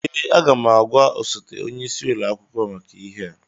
Ee, aga m agwa osote onye isi ụlọ akwụkwọ maka ihe a